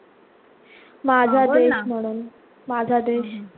माझा देश म्हणून.